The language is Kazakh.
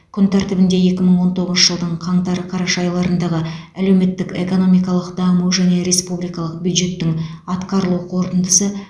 күн тәртібінде екі мың он тоғызыншы жылдың қаңтар қараша айларындағы әлеуметтік экономикалық даму және республикалық бюджеттің атқарылу қорытындысы